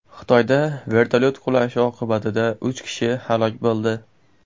Xitoyda vertolyot qulashi oqibatida uch kishi halok bo‘ldi.